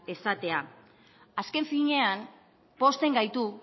esatea azken finean pozten gaitu